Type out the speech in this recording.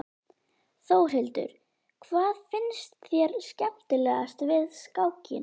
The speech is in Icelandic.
Þórhildur: Hvað finnst þér skemmtilegast við skákina?